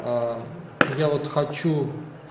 я вот хочу